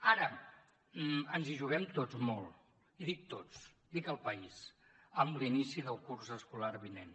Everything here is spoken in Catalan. ara ens hi juguem tots molt i dic tots dic el país amb l’inici del curs escolar vinent